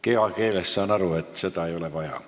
Kehakeelest saan aru, et seda ei ole vaja.